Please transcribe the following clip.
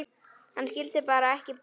Hann skildi bara ekki bofs.